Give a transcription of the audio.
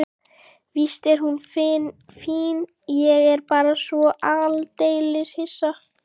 Víst er hún fín, ég er bara svo aldeilis hissa.